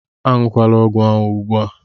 Aṅụla ọgwụ ahụ ugbu a!